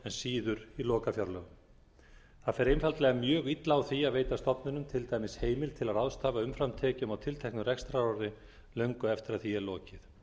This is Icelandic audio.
síður í lokafjárlögum það fer einfaldlega mjög illa á því að veita stofnunum til dæmis heimild til að ráðstafa umframtekjum á tilteknu rekstrarári löngu eftir að því er lokið